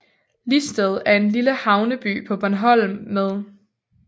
Listed er en lille havneby på Bornholm med